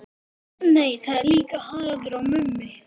Nei það er líka Haraldur og Mummi.